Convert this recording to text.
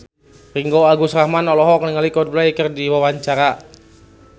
Ringgo Agus Rahman olohok ningali Coldplay keur diwawancara